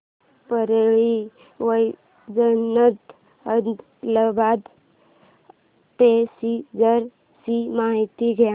Parli Vaijnath Adilabad passenger ची माहिती द्या